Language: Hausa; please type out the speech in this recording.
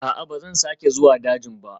A'a, ba zan sake zuwa dajin ba